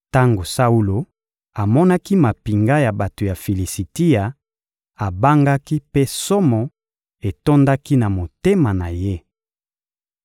Tango Saulo amonaki mampinga ya bato ya Filisitia, abangaki mpe somo etondaki na motema na ye.